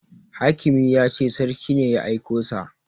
Hakimi ya ce sarki ne ya aiko sa